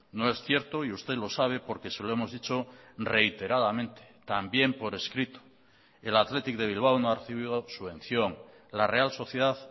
no es cierto y usted lo sabe porque se lo hemos dicho reiteradamente también por escrito el athletic de bilbao no ha recibido subvención la real sociedad